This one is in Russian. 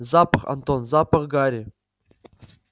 запах антон запах гари